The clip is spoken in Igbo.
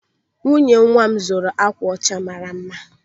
Nwunye nwa m zụrụ akwa ọcha mara mma.